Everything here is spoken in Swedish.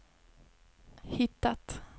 hittat